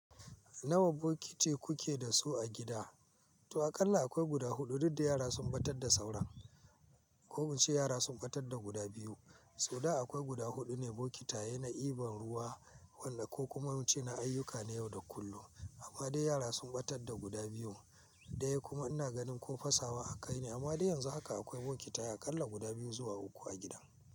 Nawa bokiti kuke da su a gida? To aƙalla akwai guda huɗu, duk da yara sun ɓatar da sauran. Ko mu ce yara sun ɓatar da guda biyu. To da akwai guda huɗu ne bokitaye na ibar ruwa, wanda ko kuma mu ce na ayyuka na yau da kullum. Amma dai yara sun ɓatar da guda biyu. Da ya kuma ina ganin ko fasawa aka yi ne, amma dai yanzu haka akwai bokitaye aƙalla guda biyu zuwa uku a gidan.